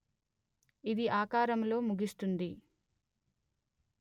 ఇది ఆకారములో ముగిస్తుంది